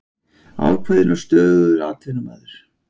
Ákveðinn og stöðugur atvinnumaður.